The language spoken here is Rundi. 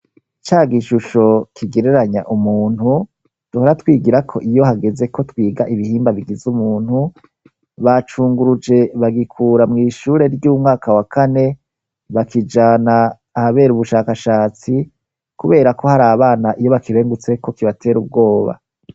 Cagishusho kigereranya umuntu ,duhora twigira ko iyo hageze ko twiga ibihimba bigize umuntu, bacunguruje bagikura mw' ishure ry'umwaka wa kane, bakijana ahabera ubushakashatsi kubera ko hari abana iyo bakirengutse ko kibater'ubwoba.